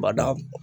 Bada